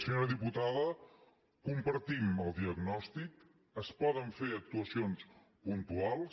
senyora diputada compartim el diagnòstic es poden fer actuacions puntuals